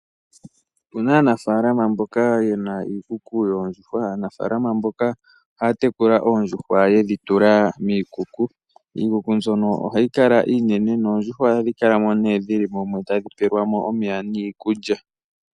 Opuna aanafaalama mboka yena iikuku yoondjuhwa, aanafaalama mboka ohaya tekula oondjuhwa yedhitula miikuku, iikuku mbyono ohayi kala iinene noondjuhwa ohadhikala ne dhili mo tadhipelwa mo omeya niikulya.